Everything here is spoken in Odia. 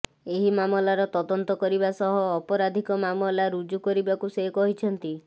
ଏହି ମାମଲାର ତଦନ୍ତ କରିବା ସହ ଅପରାଧିକ ମାମଲା ରୁଜୁ କରିବାକୁ ସେ କହିଛନ୍ତି